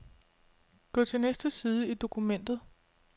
Gå til næste side i dokumentet.